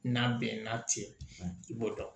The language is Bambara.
N'a bɛn na ten i b'o dɔn